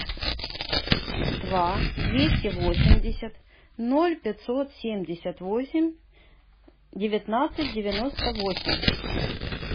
два двести восемьдесят ноль пятьсот семьдесят восемь девятнадцать девяносто восемь